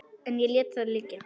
En ég lét það liggja.